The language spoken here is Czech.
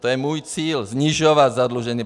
To je můj cíl - snižovat zadlužení.